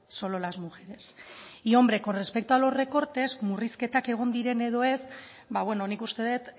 solo las mujeres y con respecto a los recortes murrizketak egon diren edo ez nik uste dut